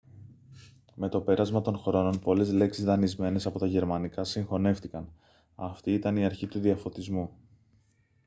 με το πέρασμα των χρόνων πολλές λέξεις δανεισμένες από τα γερμανικά συγχωνεύτηκαν αυτή ήταν η αρχή του διαφωτισμού